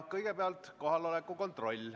Kõigepealt teeme kohaloleku kontrolli.